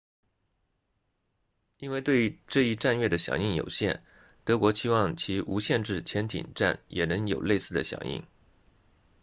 因为对这一战略的响应有限德国期望其无限制潜艇战也能有类似的响应